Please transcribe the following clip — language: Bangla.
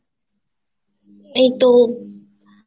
এইতো